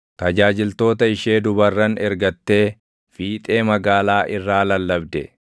Tajaajiltoota ishee dubarran ergattee fiixee magaalaa irraa lallabde.